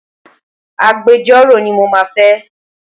Agbejọ́rò ni mo máa fẹ́.